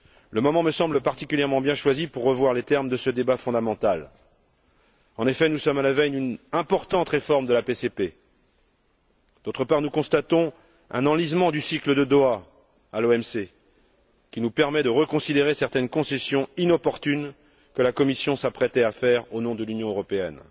Le moment me semble particulièrement bien choisi pour revoir les termes de ce débat fondamental. En effet, nous sommes à la veille d'une importante réforme de la PCP. D'autre part, nous constatons un enlisement du cycle de Doha à l'OMC, qui nous permet de reconsidérer certaines concessions inopportunes que la Commission s'apprêtait à faire au nom de l'Union européenne.